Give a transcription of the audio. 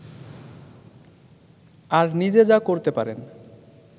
আর নিজে যা করতে পারেন